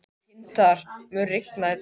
Tindar, mun rigna í dag?